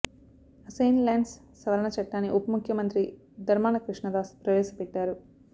assigned lands సవరణ చట్టాన్ని ఉప ముఖ్యమంత్రి ధర్మాన కృష్ణదాస్ ప్రవేశపెట్టారు